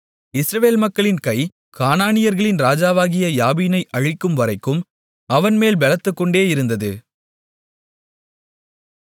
இஸ்ரவேல் மக்களின் கை கானானியர்களின் ராஜாவாகிய யாபீனை அழிக்கும்வரைக்கும் அவன்மேல் பெலத்துக்கொண்டேயிருந்தது